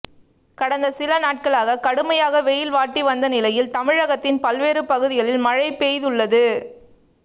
கடந்த சில நாட்களாக கடுமையாக வெயில் வாட்டி வந்த நிலையில் தமிழகத்தின் பல்வேறு பகுதிகளில் மழை பெய்துள்ளது